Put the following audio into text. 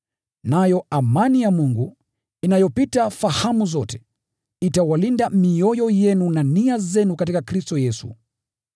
Nayo amani ya Mungu, inayopita fahamu zote, itailinda mioyo yenu na nia zenu katika Kristo Yesu.